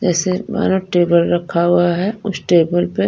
जैसे मानो टेबल रखा हुआ हैउस टेबल में।